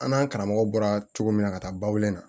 An n'an karamɔgɔ bɔra cogo min na ka taa bawule na